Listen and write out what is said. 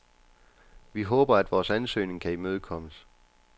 Vi håber, at vores ansøgning kan imødekommes.